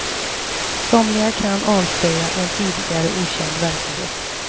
Somliga kan avslöja en tidigare okänd verklighet.